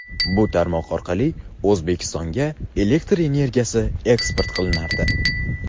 Bu tarmoq orqali O‘zbekistonga elektr energiyasi eksport qilinardi.